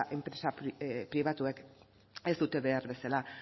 enpresa pribatuek ez dute behar bezala